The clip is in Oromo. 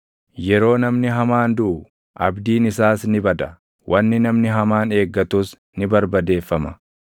Yeroo namni hamaan duʼu, abdiin isaas ni bada; wanni namni hamaan eeggatus ni barbadeeffama.